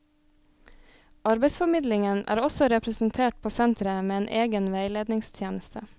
Arbeidsformidlingen er også representert på senteret med en egen veiledningstjeneste.